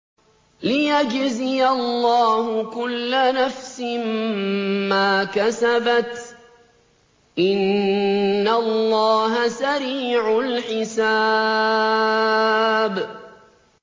لِيَجْزِيَ اللَّهُ كُلَّ نَفْسٍ مَّا كَسَبَتْ ۚ إِنَّ اللَّهَ سَرِيعُ الْحِسَابِ